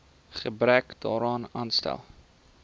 gebrek daaraan stel